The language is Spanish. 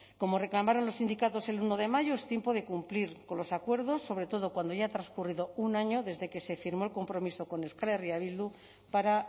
como reclamaron los sindicatos el uno de mayo es tiempo de cumplir con los acuerdos sobre todo cuando ya ha transcurrido un año desde que se firmó el compromiso con euskal herria bildu para